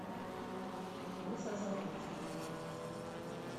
лесозаводску